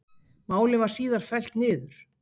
Málið var síðar fellt niður